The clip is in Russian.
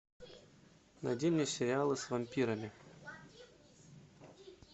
найди мне сериалы с вампирами